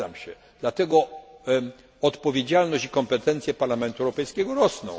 Zgadzam się, że dlatego odpowiedzialność i kompetencje Parlamentu Europejskiego rosną.